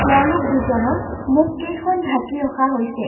তেওঁলোক দুজনৰ মুখকেইখন ঢাকি ৰখা হৈছে।